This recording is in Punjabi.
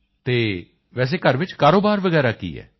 ਅਤੇ ਵੈਸੇ ਘਰ ਵਿੱਚ ਕਾਰੋਬਾਰ ਵਗੈਰਾ ਕੀ ਹੈ